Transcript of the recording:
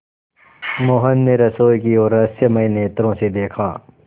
मोहन ने रसोई की ओर रहस्यमय नेत्रों से देखा